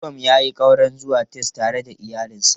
Suwam ya yi ƙaura zuwa Texas tare da iyalinsa.